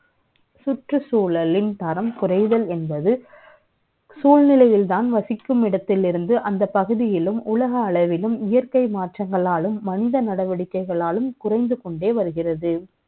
சூழ்நிலை யில்தான் வசிக்கும் இடத்தில் இருந்து, அந்தப் பகுதியிலும், உலக அளவிலும், இயற்கை மாற்றங்களாலும், மந்த நடவடிக்கை களாலும், குறை ந்து க ொண்டே வருகிறது